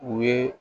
U ye